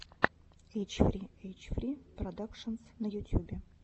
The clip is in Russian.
эйч фри эйч фри продакшенс на ютьюбе